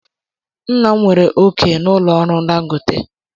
Nna m nwere òkè na ụlọ ọrụ dangote.